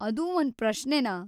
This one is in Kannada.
ಅದೂ ಒಂದ್ ಪ್ರಶ್ನೆನಾ!